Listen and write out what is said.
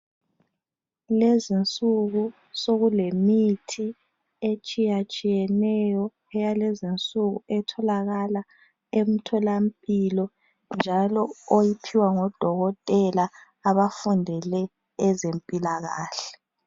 Lezinsuku sokulemithi etshiya-tshiyeneyo eyalezinsuku etholakala emtholampilo njalo oyiphiwa ngodokotela abafundele ezempilakahle